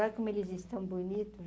Olha como eles estão bonitos.